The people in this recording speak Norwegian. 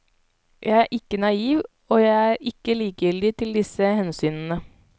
Jeg er ikke naiv, og jeg er ikke likegyldig til disse hensynene.